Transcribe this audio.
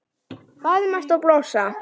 Faðmast og blossa.